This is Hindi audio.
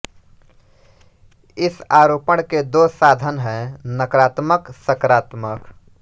इस आरोपण के दो साधन हैं नकारात्मक सकारात्मक